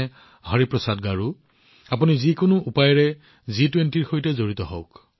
হৰিপ্ৰসাদ গাৰুৰ দৰে আপোনালোকেও যিকোনো প্ৰকাৰে জি২০ত যোগদান কৰক